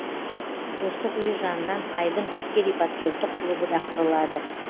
достық үйі жанынан айбын әскери патриоттық клубы да құрылады